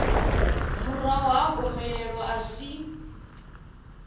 murahu ha gomelelo a si